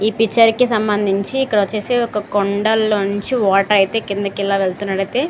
ఈ పిక్చర్ కి సంబంధించి ఇక్కడ వచ్చేసి ఒక కొండల నుంచి వాటర్ అయితే కిందికి వెళ్తున్నట్లు.